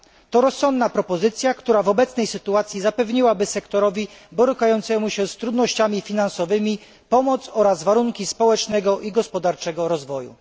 To rozsądna propozycja, która w obecnej sytuacji zapewniłaby sektorowi borykającemu się z trudnościami finansowymi pomoc oraz warunki społecznego i gospodarczego rozwoju.